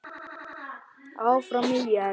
Áfram ÍR!